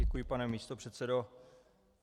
Děkuji, pane místopředsedo.